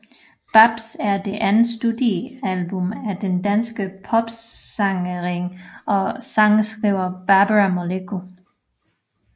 Bapsz er det andet studiealbum af den danske popsangerinde og sangskriver Barbara Moleko